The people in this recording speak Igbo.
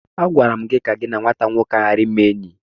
Agwara m gi ka gị na nwata nwoke ahu ghara ịme enyi!